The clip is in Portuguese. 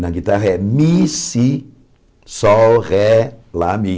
Na guitarra é Mi, Si, Sol, Ré, Lá, Mi.